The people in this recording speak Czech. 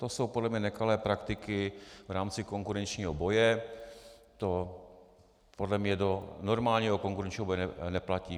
To jsou podle mě nekalé praktiky v rámci konkurenčního boje, to podle mě do normálního konkurenčního boje nepatří.